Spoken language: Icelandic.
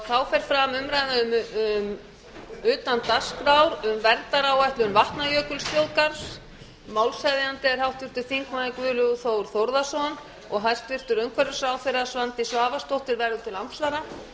þá fer fram umræða utan dagskrár um verndaráætlun vatnajökulsþjóðgarðs málshefjandi er háttvirtur þingmaður guðlaugur þór þórðarson hæstvirtur umhverfisráðherra svandís svavarsdóttir verður til andsvara